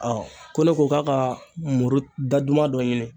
Ɔ ko ne ko k'a ka muru daduman dɔ ɲini